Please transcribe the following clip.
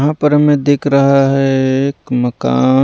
यहाँ पर हमें दिख रहा है एक मकान।